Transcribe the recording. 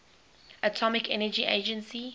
atomic energy agency